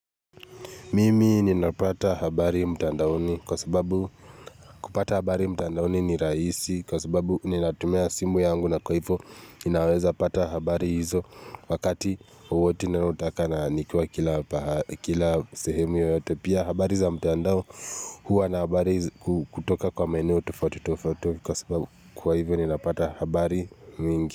Mimi ninapata habari mtandaoni kwa sababu kupata habari mtandaoni ni rahisi kwa sababu ninatumia simu yangu na kwa hivyo inaweza pata habari hizo wakati wowote ninayotaka na nikiwa kila sehemu yoyote pia habari za mtandao huwa na habari kutoka kwa maeneo tofauti tofauti kwa sababu kwa hivyo ninapata habari mingi.